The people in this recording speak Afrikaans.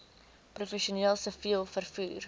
professioneel siviel vervoer